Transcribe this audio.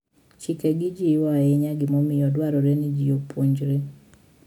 Chikegi jiwo ahinya gimomiyo dwarore ni ji opuonjre.